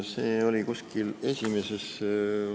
See oli kuskil esimeses ...